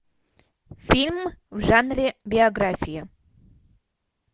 фильм в жанре биография